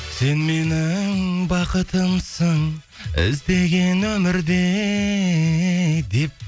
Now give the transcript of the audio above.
сен менің бақытымсың іздеген өмірде деп